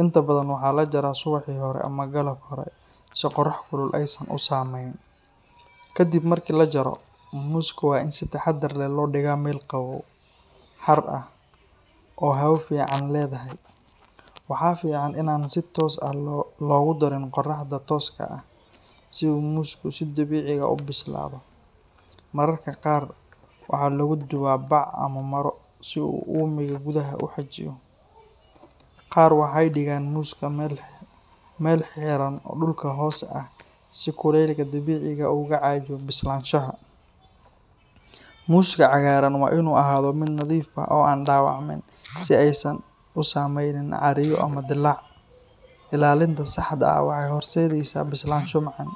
Inta badan waxaa la jaraa subaxii hore ama galab hore si qorrax kulul aysan u saameyn. Kadib marka la jaro, muuska waa in si taxaddar leh loo dhigaa meel qabow, hadh ah, oo hawo fiican leedahay. Waxa fiican in aan si toos ah loogu darin qorraxda tooska ah. Si uu muusku si dabiici ah u bislaado, mararka qaar waxaa lagu duudaa bac ama maro si uu uumiga gudaha u xejiyo. Qaar waxay dhigaan muuska meel xiran oo dhulka hoose ah si kuleylka dabiiciga ah uu uga caawiyo bislaanshaha. Muuska cagaaran waa inuu ahaado mid nadiif ah oo aan dhaawacmin, si aysan u samaynin caariyo ama dillaac. Ilaalinta saxda ah waxay horseedaysaa bislaansho macaan.